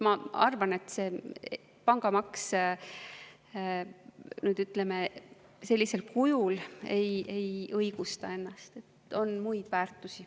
Ma arvan, et pangamaks sellisel kujul ei õigusta ennast, on ka muid väärtusi.